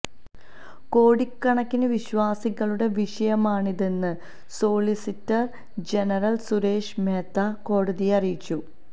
കോടികണക്കിന് വിശ്വാസികളുടെ വിഷയമാണിതെന്ന് solicitor general Suresh Mehta കോടതിയെ അറിയിച്ചു